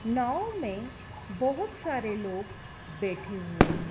नाव में बहुत सारे लोग बैठे हुए हैं।